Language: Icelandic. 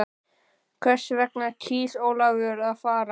Hvers vegna kýs Ólafur að fara?